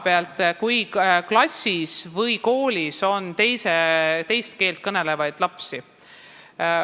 Mis siis, kui klassis või koolis on teist keelt kõnelevaid lapsi?